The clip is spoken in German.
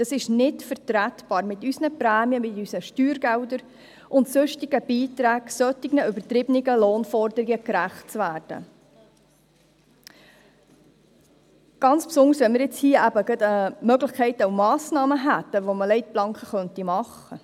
Es ist bei unseren Prämien, unseren Steuergeldern und sonstigen Beiträgen nicht mehr vertretbar, solch übertriebenen Lohnforderungen gerecht zu werden – insbesondere, da wir mit der vorliegenden Massnahme die Möglichkeit hätten, Leitplanken zu setzen.